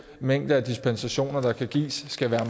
mængde dispensationer der kan gives skal være